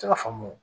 Se ka faamu